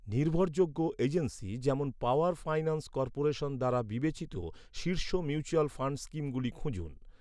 নির্ভরযোগ্য এজেন্সি যেমন power finance corporation দ্বারা বিবেচিত শীর্ষ মিউচুয়াল ফান্ড স্কিমগুলি খুঁজুন।